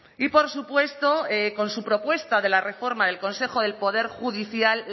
y por supuesto con su propuesta de la reforma del consejo del poder judicial